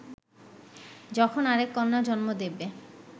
যখন আরেক কন্যা জন্ম দেবে